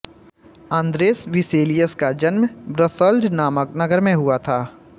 Andreas Vesalius का जन्म Brussels नामक नगर में हुआ था